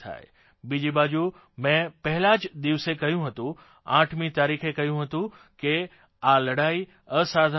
બીજી બાજુ મેં પહેલા જ દિવસે કહ્યું હતું આઠમી તારીખે કહ્યું હતું કે આ લડાઇ અસાધારણ છે